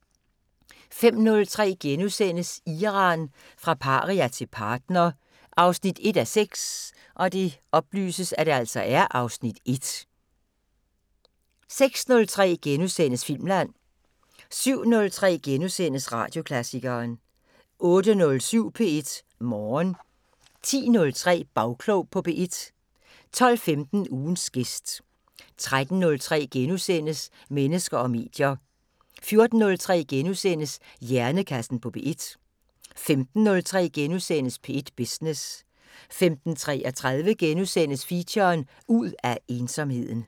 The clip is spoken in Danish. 05:03: Iran – fra paria til partner 1:6 (Afs. 1)* 06:03: Filmland * 07:03: Radioklassikeren * 08:07: P1 Morgen 10:03: Bagklog på P1 12:15: Ugens gæst 13:03: Mennesker og medier * 14:03: Hjernekassen på P1 * 15:03: P1 Business * 15:33: Feature: Ud af ensomheden *